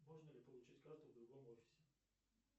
можно ли получить карту в другом офисе